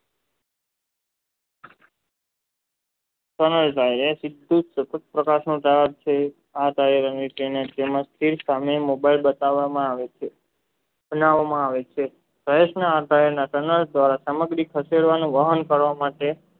mobile બતાવામાં આવે છે બનાવામાં આવે છે ભારતના અભાવના સામગ્રી થશે કરવાનું વાહન કરવા માટે